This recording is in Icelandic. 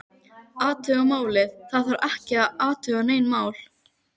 Athuga málið, það þarf ekki að athuga nein mál